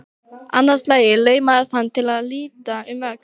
Annað slagið laumaðist hann til að líta um öxl.